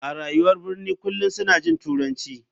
A rayuwar birni kullum suna jin turanci.